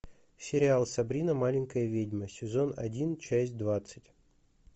сериал сабрина маленькая ведьма сезон один часть двадцать